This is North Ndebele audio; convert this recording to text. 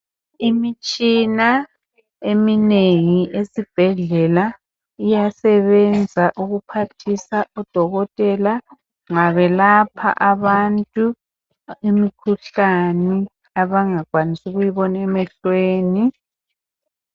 Imitshina eminengi esibhedlela iyasebenza ukuphathisa odokotela nxa belapha abantu imikhuhlane abangakwanisi ukuyibona emehlweni.